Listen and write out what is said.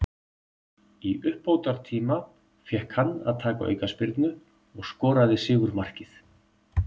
Í uppbótartíma fékk hann að taka aukaspyrnu og skoraði sigurmarkið.